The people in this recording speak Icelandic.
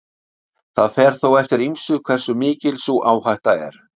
Það fer þó eftir ýmsu hversu mikil sú áhætta er.